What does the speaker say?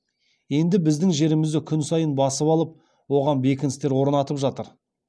енді біздің жерімізді күн сайын басып алып оған бекіністер орнатып жатыр